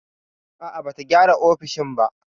A'a, bata gyara ofishin ba.